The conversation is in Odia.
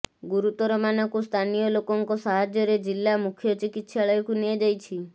ଗୁରୁତରମାନଙ୍କୁ ସ୍ଥାନୀୟ ଲୋକଙ୍କ ସାହାର୍ଯ୍ୟରେ ଜିଲ୍ଲା ମୁଖ୍ୟ ଚିକିତ୍ସାଳୟକୁ ନିଆଯାଇଛି